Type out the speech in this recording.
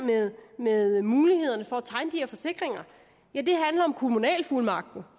med muligheden for at tegne de her forsikringer handler om kommunalfuldmagten